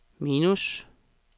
minus